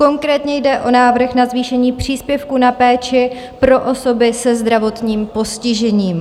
Konkrétně jde o návrh na zvýšení příspěvku na péči pro osoby se zdravotním postižením.